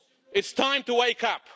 It's time to wake up.